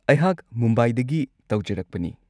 ꯑꯩꯍꯥꯛ ꯃꯨꯝꯕꯥꯏꯗꯒꯤ ꯇꯧꯖꯔꯛꯄꯅꯤ꯫